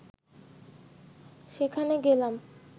সেখানে গেলাম